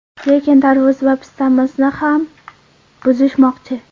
Lekin tarvuz va pistamizni ham buzishmoqchi.